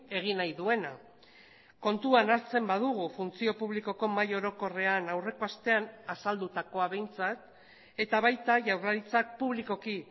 egin nahi duena kontuan hartzen badugu funtzio publikoko mahai orokorrean aurreko astean azaldutakoa behintzat eta baita jaurlaritzak publikoki